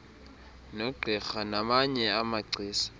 nogqirha namanye amagcisa